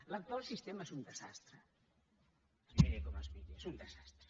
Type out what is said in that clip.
l’actual sistema és un desastre es miri com es miri és un desastre